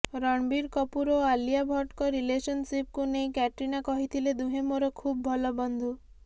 ରଣବୀର କପୁର ଓ ଆଲିଆ ଭଟ୍ଟଙ୍କ ରିଲେସନସିପ୍କୁ ନେଇ କ୍ୟାଟ୍ରିନା କହିଥିଲେ ଦୁହେଁ ମୋର ଖୁବ୍ ଭଲ ବନ୍ଧୁ